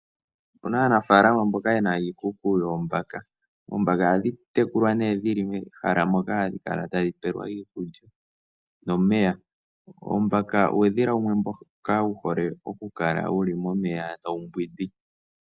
Opena aanafalama mboka yena iikuku yoombaka. Oombaka ohadhintekulwa nee dhili mehala moka hadhi kalatadhi pewelwamo iikulya nomeya. Oombaka uudhila wumwe mboka wuhole okukala wuli momeya tawu mbwindi.